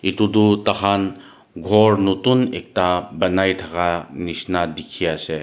Etu toh tai kan ghor notun ekta banai thaka nishina dikhiase.